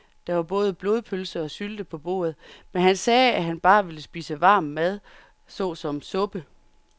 Der var både blodpølse og sylte på bordet, men han sagde, at han bare ville spise varm mad såsom suppe.